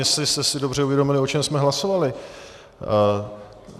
Jestli jste si dobře uvědomili, o čem jsme hlasovali.